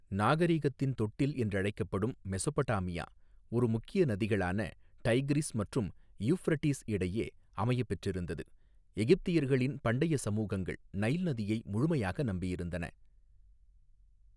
நாகரீகத்தின் தொட்டில் என்றழைக்கப்படும், மெஸொப்படாமியா, ஒரு முக்கிய நதிகளான, டைக்ரிஸ் மற்றும் இயுஃப்ரட்டீஸ் இடையே, அமையப் பெற்றிருந்தது எகிப்தியர்களின் பண்டைய சமூகங்கள், நைல் நதியை, முழுமையாக நம்பியிருந்தன.